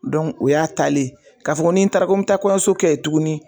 o y'a taalen ye k'a fɔ ko ni n taara n mɛ taa kɔɲɔso kɛ ye tuguni.